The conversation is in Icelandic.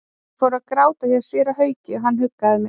Ég fór að gráta hjá séra Hauki og hann huggaði mig.